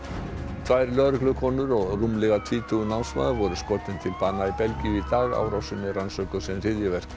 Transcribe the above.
tvær lögreglukonur og rúmlega tvítugur námsmaður voru skotin til bana í Belgíu í dag árásin er rannsökuð sem hryðjuverk